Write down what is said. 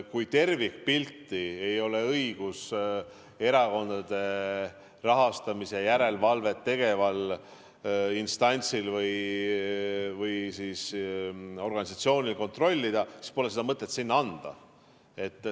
Kui erakondade rahastamise järelevalvet tegeval instantsil või organisatsioonil ei ole õigust tervikpilti kontrollida, siis pole seda mõtet talle anda.